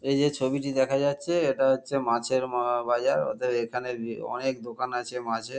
এই যে ছবিটি দেখা যাচ্ছে এটা হচ্ছে মাছের ম বাজার অতএব এখানে অনেক দোকান আছে মাছের।